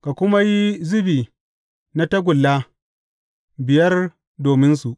Ka kuma yi zubi na tagulla biyar dominsu.